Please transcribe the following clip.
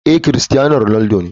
Ee, cristiano ronaldo ne.